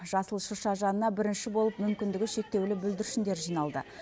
жасыл шырша жанына бірінші болып мүмкіндігі шектеулі бүлдіршіндер жиналды